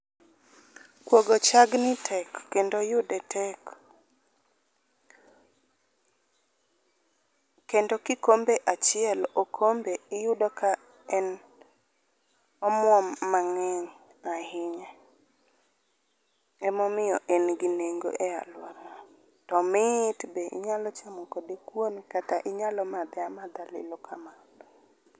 Kuogo chagni tek kendo yude tek. kendo kikombe achiel okombe iyudo ka en omuom mang'eny ahinya, emomiyo en gi nengo e aluora wa. To omit be inyalo chamo kode kuon, kata inyalo madhe amadha lilo kamano.